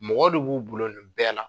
Mɔgɔ de b'u bolo nin bɛɛ la.